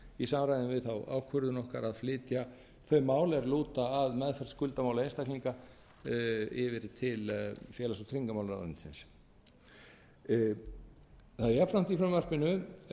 samræmi við þá ákvörðun okkar að flytja þau mál er lúta að meðferð skuldamála einstaklinga yfir til félags og tryggingamálaráðuneytisins það er jafnframt í frumvarpinu